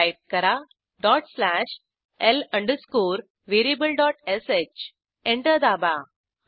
type करा dot slash l variablesh enter दाबा